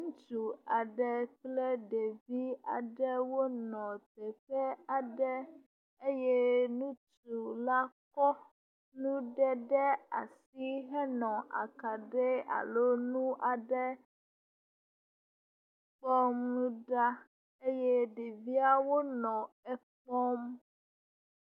Ŋutsu aɖe kple ɖevi aɖe wonɔ teƒe aɖe eye ŋutsu la kɔ nuɖe ɖe asi henɔ akaɖi alo nu aɖe kpɔmu ɖa eye ɖeviawo nɔ ekpɔm.